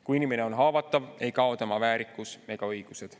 Kuigi inimene on haavatav, ei kao tema väärikus ega õigused.